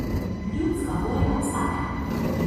Ljudska volja obstaja.